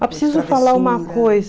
Eu preciso falar uma coisa.